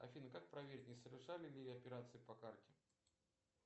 афина как проверить не совершали ли операции по карте